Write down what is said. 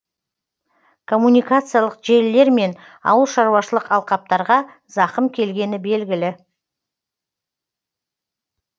коммуникациялық желілер мен ауылшаруашылық алқаптарға зақым келгені белгілі